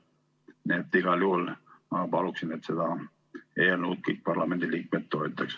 Nii et igal juhul ma palun, et seda eelnõu kõik parlamendiliikmed toetaksid!